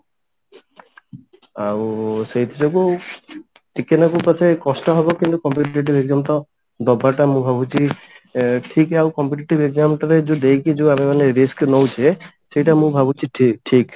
ଆଉ ସେଇଥି ଯୋଗୁ ଟିକେ ନାକୁ ପଛେ କଷ୍ଟ ହବ କିନ୍ତୁ competitive exam ଟା ଦବାଟା ମୁଁ ଭାବୁଛି ଏ ଠିକ ଆଉ competitive exam ତେବେ ଯଉ ଦେଇକି ଯଉ ଆମେ ମାନେ risk ନଉଛେ ସେଇଟା ମୁଁ ଭାବୁଛି ଠିକ ଠିକ